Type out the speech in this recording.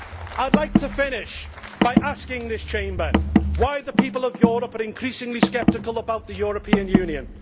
I would like to finish by asking this Chamber why the people of Europe are increasingly sceptical about the European Union.